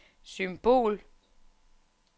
symbol